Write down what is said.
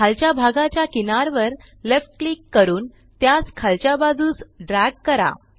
खालच्या भागाच्या किनारवर लेफ्ट क्लिक करून त्यास खालच्या बाजूस ड्रॅग करा